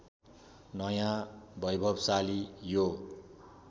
नयाँ वैभवशाली यो